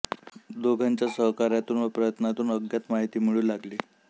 दोघांच्या सहकार्यातून व प्रयत्नांतून अज्ञात माहिती मिळू लागली